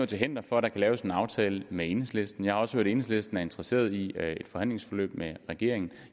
til hinder for at der kan laves en aftale med enhedslisten jeg har også hørt at enhedslisten er interesseret i et forhandlingsforløb med regeringen